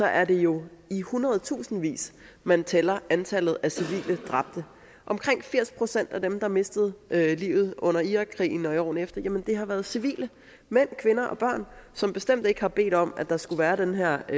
er det jo i hundredetusindvis man tæller antallet af civile dræbte omkring firs procent af dem der mistede livet under irakkrigen og i årene efter har været civile mænd kvinder og børn som bestemt ikke har bedt om at der skulle være den her